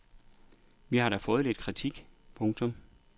Vi har da fået lidt kritik. punktum